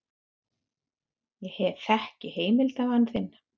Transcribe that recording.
Ég þekki heimildarmann þinn.